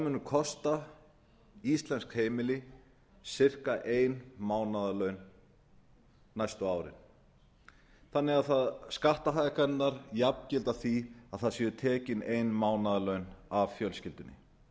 munu kosta íslensk heimili um það bil ein mánaðarlaun næstu árin þannig að skattahækkanirnar jafngilda því að það séu tekin ein mánaðarlaun af fjölskyldunni